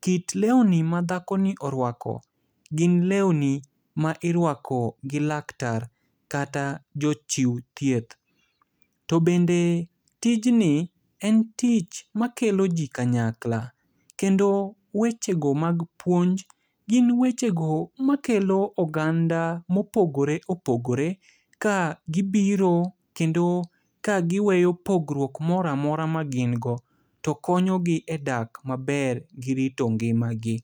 kit leuni madhakoni orwako, gin leuni ma irwako gi laktar, kata jochiu thieth. To bende tijni en tich makelo ji kanyakla. Kendo wechego mag puonj, gin wechego makelo oganda mopogore opogore ka gibiro kendo ka giweyo pogruok moramora ma gin go. To konyogi e dak maber gi rito ngimagi.